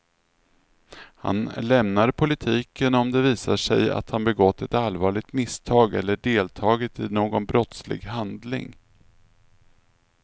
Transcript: Han lämnar politiken om det visar sig att han begått ett allvarligt misstag eller deltagit i någon brottslig handling.